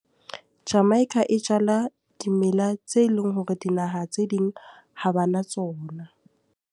Jamaica e jala dimela tse leng hore dinaha tse ding ha ba na tsona.